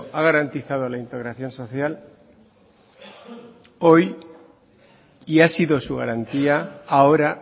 ha garantizado la integración social hoy y ha sido su garantía ahora